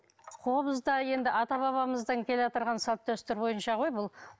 қобыз да енді ата бабамыздан келеатырған салт дәстүр бойынша ғой бұл